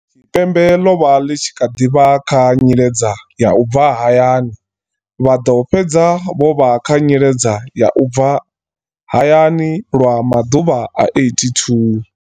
Tshipembe ḽo vha ḽi tshi kha ḓi vha kha nyiledza ya u bva hayani, vha ḓo fhedza vho vha kha nyiledza ya u bva hayani lwa maḓuvha a 82.